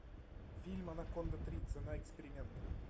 фильм анаконда три цена эксперимента